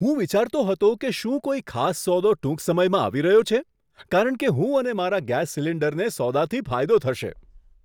હું વિચારતો હતો કે શું કોઈ ખાસ સોદો ટૂંક સમયમાં આવી રહ્યો છે કે શું. કારણ કે હું અને મારા ગેસ સિલિન્ડરને સોદાથી ફાયદો થશે!